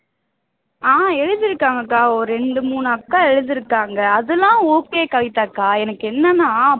ஆஹ் எழுதிருக்காங்க அக்கா ஒரு இரண்டு மூணு அக்கா எழுதிருக்காங்க அது எல்லாம் okay கவிதாக்கா எனக்கு என்னென்னா